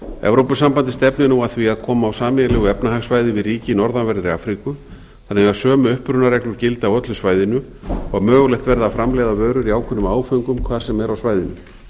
evrópusambandið stefnir nú að því að koma á sameiginlegu efnahagssvæði við ríki í norðanverðri afríku þannig að sömu upprunareglur gildi á öllu svæðinu og mögulegt verði að framleiða vörur í ákveðnum áföngum hvar sem er á svæðinu